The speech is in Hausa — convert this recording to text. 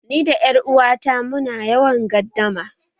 Ni da 'yar uwata mu na yawan gardama